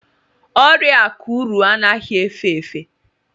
ọrịa akuru anaghị efe efe